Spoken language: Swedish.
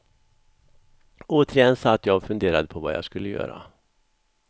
Återigen satt jag och funderade på vad jag skulle göra.